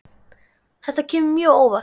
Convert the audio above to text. Þetta kemur mér mjög óvart.